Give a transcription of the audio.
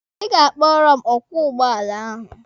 Ị ga-akpọrọ m ọkwọ ụgbọala ahụ.